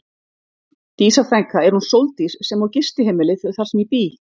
Dísa frænka er hún Sóldís sem á gistiheimilið þar sem ég bý.